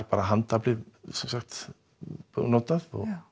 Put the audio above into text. bara handaflið notað